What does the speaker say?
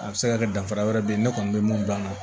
A bɛ se ka kɛ danfara wɛrɛ bɛ yen ne kɔni bɛ mun gilan na